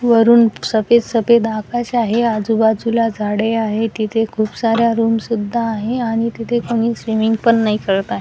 वरुन सफेद सफेद आकाश आहे आजूबाजूला झाडे आहे तिथे खूप साऱ्या रूम सुद्धा आहे आणि तिथे कोणी स्विमिंग पण नाही करत आहे.